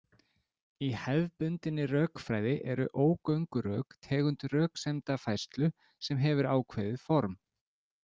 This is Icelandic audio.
Í hefðbundinni rökfræði eru ógöngurök tegund röksemdafærslu, sem hefur ákveðið form.